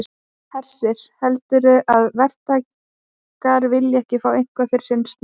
Hersir: Heldurðu að verktakar vilji ekki fá eitthvað fyrir sinn snúð?